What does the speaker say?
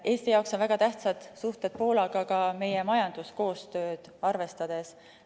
Eesti jaoks on väga tähtsad suhted Poolaga ka meie majanduskoostööd arvestades.